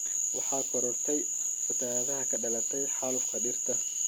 Waxaa korortay fatahaada ka dhalatay xaalufka dhirta.